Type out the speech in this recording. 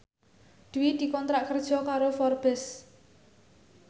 Dwi dikontrak kerja karo Forbes